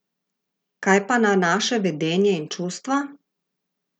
Kaj pa na naše vedenje in čustva?